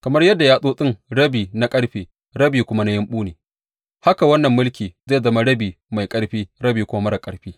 Kamar yadda yatsotsin rabi na ƙarfe rabi kuma na yumɓu ne, haka wannan mulki zai zama rabi mai ƙarfi rabi kuma marar ƙarfi.